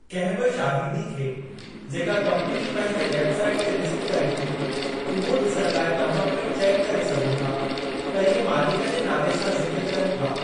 कंहिं बि शाहिदी खे जेका कम्पनी पंहिंजी वेब साईट ते लिस्ट करे थी उहो ॾिसणु लाइ तव्हां पिणु चेकु करे सघो था त इहे मालिक जे नाले सां ज़िक्र कनि था।